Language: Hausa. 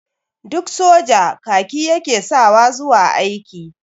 Duk soja kaki ya ke sawa zuwa aiki.